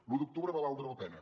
l’u d’octubre va valdre la pena